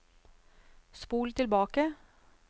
spol tilbake